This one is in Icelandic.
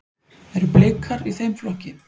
Eru Blikar í þeim flokki?